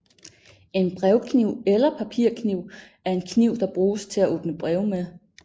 En brevkniv eller papirkniv er en kniv der bruges til at åbne breve med